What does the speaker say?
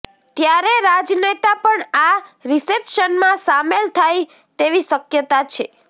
ત્યારે રાજનેતા પણ આ રિશેપ્સનમાં સામેલ થાય તેવી શક્યતા છે